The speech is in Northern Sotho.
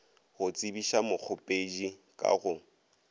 go tsebiša mokgopedi ka go